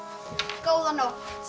góða nótt